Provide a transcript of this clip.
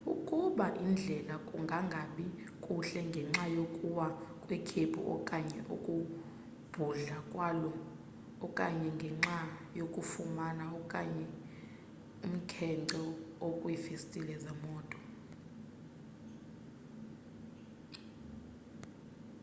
ukubona indlela kungangabi kuhle ngenxa yokuwa kwekhephu okanye ukubhudla kwalo okanye ngenxa yokufuma okanye umkhence okwiifestile zemoto